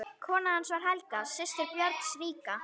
Kona hans var Helga, systir Björns ríka.